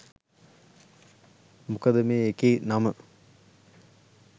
මොකද මේ එකේ නම